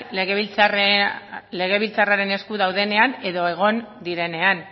legebiltzarraren esku daudenean edo egon direnean